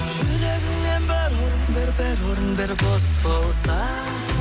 жүрегіңнен бір орын бер бір орын бер бос болса